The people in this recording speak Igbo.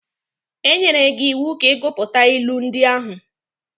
E nyere gị iwu ka ị gụpụta ilu ndị ahụ.